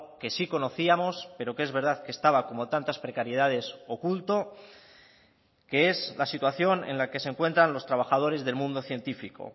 que sí conocíamos pero que es verdad que estaba como tantas precariedades oculto que es la situación en la que se encuentran los trabajadores del mundo científico